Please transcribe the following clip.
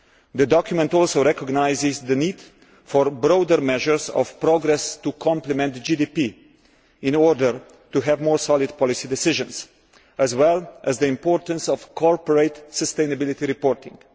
The document also recognises the need for broader measures of progress to complement GDP in order to have more solid policy decisions, as well as the importance of corporate sustainable reporting.